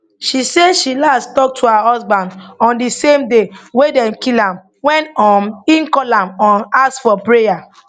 she say she last tok to her husband on di same day wey dem kill am wen um e call am um ask for prayer